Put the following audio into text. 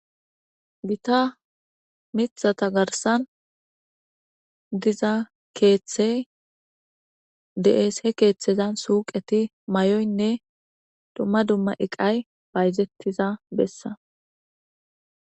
Gita miththata garssan keeththey de'es. He keeththezan suuqeti mayoynne dumma dumma iqay bayzetiza bessa.